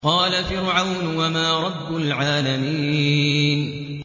قَالَ فِرْعَوْنُ وَمَا رَبُّ الْعَالَمِينَ